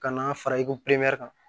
Ka n'a fara i ko kan